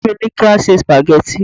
ìyá mi ni ki a se spaghetti